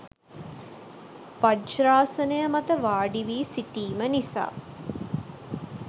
වජ්‍රාසනය මත වාඩිවි සිටීම නිසා